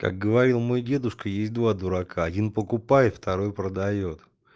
как говорил мой дедушка есть два дурака один покупает второй продаёт